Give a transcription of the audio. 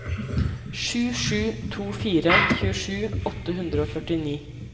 sju sju to fire tjuesju åtte hundre og førtini